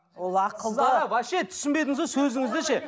ол ақылды вообще түсінбедіңіз ғой сөзіңізді ше